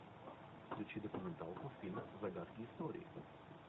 включи документалку фильм загадки истории